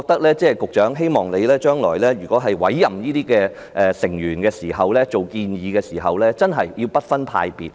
所以，我希望局長將來委任或建議醫管局大會成員時要不分派別。